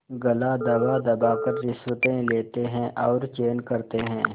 गला दबादबा कर रिश्वतें लेते हैं और चैन करते हैं